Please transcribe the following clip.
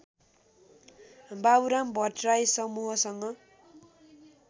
बाबुराम भट्टराई समूहसँग